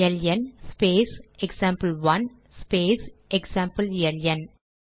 LN space example space example LN